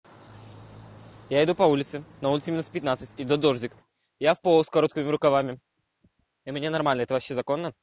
я иду по улице на улице минус пятнадцать идёт дождик я в поло с короткими рукавами и меня нормально это вообще законно